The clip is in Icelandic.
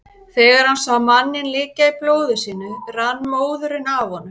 Þegar hann sá manninn liggja í blóði sínu rann móðurinn af honum.